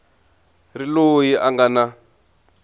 ri loyi a nga na